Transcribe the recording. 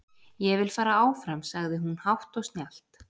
Ég vil fara áfram, sagði hún hátt og snjallt.